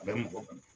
A bɛ mɔgɔ